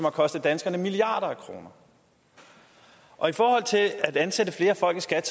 og kostet danskerne milliarder af kroner og i forhold til at ansætte flere folk i skat